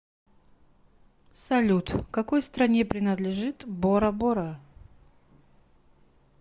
салют какой стране принадлежит борабора